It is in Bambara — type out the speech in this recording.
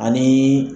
Ani